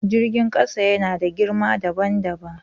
Jirgin ƙasa yana da girma dabam dabam.